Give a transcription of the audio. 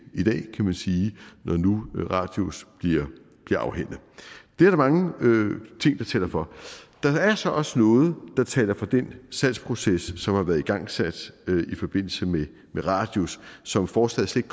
i dag kan man sige når nu radius bliver afhændet det er der mange ting der taler for der er så også noget der taler for den salgsproces som har været igangsat i forbindelse med radius som forslaget slet